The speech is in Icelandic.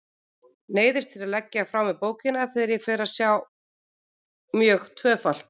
Neyðist til að leggja frá mér bókina þegar ég fer að sjá mjög tvöfalt.